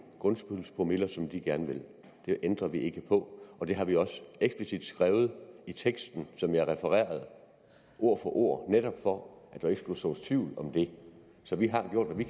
grundskyldspromiller som de gerne vil det ændrer vi ikke på og det har vi også eksplicit skrevet i teksten som jeg refererede ord for ord netop for at der ikke skulle sås tvivl om det så vi har gjort hvad vi